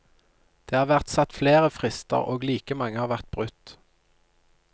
Det har vært satt flere frister og like mange har vært brutt.